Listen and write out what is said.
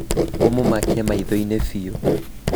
ũmũmakie maitho inĩ piũ